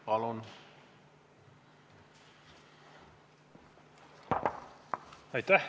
Palun!